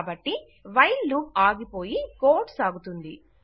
కాబట్టి while loop ఆగిపోయి code సాగుతుంది